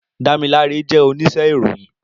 Damilare jè óníṣè iróyin